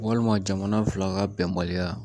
Walima jamana fila ka bɛnbaliya